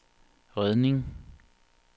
redning